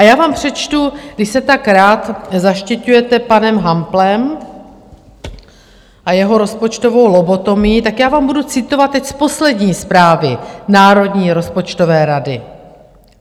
A já vám přečtu, když se tak rád zaštiťujete panem Hamplem a jeho rozpočtovou lobotomií, tak já vám budu citovat teď z poslední zprávy Národní rozpočtové rady.